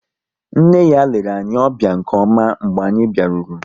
Nne ya lere anyị ọbịa nke ọma mgbe anyị biaruru